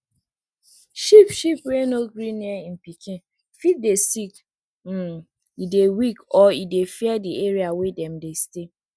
sheep sheep wey no gree near im pikin fit dey sick um e dey weak or e dey fear di area wey dem dey stay